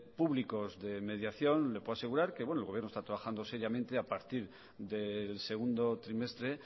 públicos de mediación le puedo asegurar que el gobierno está trabajando seriamente a partir del segundo trimestre